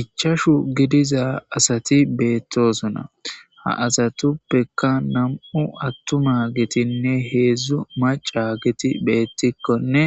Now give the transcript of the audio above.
ichashu gidiza asati beettosuna ha asatuppeka nam7u attuma gitinne heedzdzu maca giti beettikkonne